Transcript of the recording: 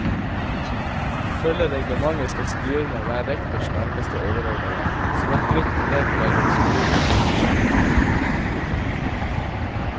Ifølge reglementet skal styrene være rektors nærmeste overordnede, som et nytt ledd mellom skolen og skolesjefen.